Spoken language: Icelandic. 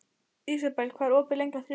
Ísabel, hvað er opið lengi á þriðjudaginn?